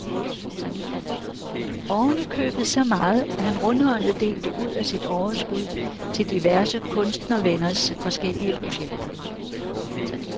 Oven i købet så meget, at han rundhåndet delte ud af sit overskud til diverse kunstnervenners forskellige projekter.